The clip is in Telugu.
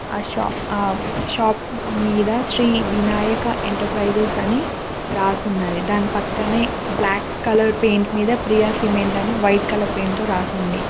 ఆ షాప్ మీద శ్రీ వినాయక ఎంటర్ప్రైజెస్ అని రాసి ఉన్నది దాని పక్కనే బ్లాక్ కలర్ పెయింట్ మీద ప్రియా సిమెంట్ అని వైట్ కలర్ పెయింట్ తో రాసి ఉంది.